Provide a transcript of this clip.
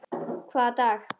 Hvaða dag?